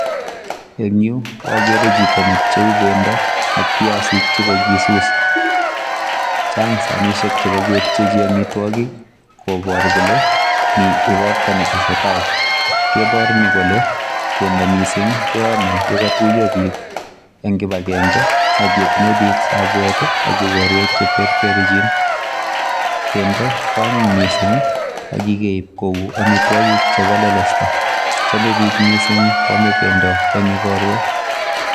Eng yu akere chito ne pcheu bendo ak piasik che kakisus, chang sanisiek che kakepchechi amitwogik kobor kole mi ikorta ne tesetai, kebor ni kole bendo mising keome ye katuiyo piik eng kibakenge ak ye tinye piik sabwet ii ak ikorwek che terterchin, bendo ko anyiny mising ak kikeip kou amitwogik chebo lelesta chome piik mising kwome bendo eng ikorwek.